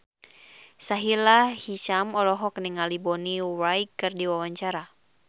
Sahila Hisyam olohok ningali Bonnie Wright keur diwawancara